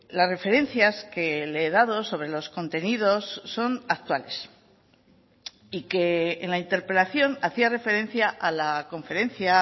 las referencias que le he dado sobre los contenidos son actuales y que en la interpelación hacía referencia a la conferencia